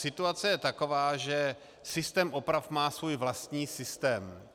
Situace je taková, že systém oprav má svůj vlastní systém.